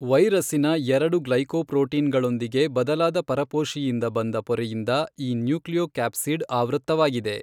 ವೈರಸ್ಸಿನ ಎರಡು ಗ್ಲೈಕೊಪ್ರೋಟೀನ್ಗಳೊಂದಿಗೆ ಬದಲಾದ ಪರಪೋಷಿಯಿಂದ ಬಂದ ಪೊರೆಯಿಂದ ಈ ನ್ಯೂಕ್ಲಿಯೊಕ್ಯಾಪ್ಸಿಡ್ ಆವೃತ್ತವಾಗಿದೆ.